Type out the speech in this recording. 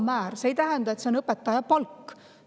See ei tähenda, et see on õpetaja palk.